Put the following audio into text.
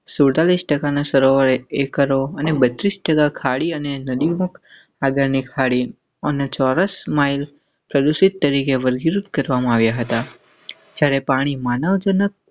સુડતાલીસ ટકાના સરવાળે અને એકરો અને બત્રીસ ટકા ખાડી અને નદીમુખ આગડની ખાડી અને ચોરસ માઇલ સદસ્ય તરીકે વર્ગીકૃત કરવામાં આવ્યા હતાં. જયારે પાણી માનવજનક.